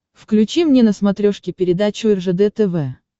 включи мне на смотрешке передачу ржд тв